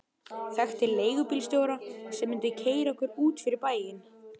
Þekkti leigubílstjóra sem mundi keyra okkur út fyrir bæinn.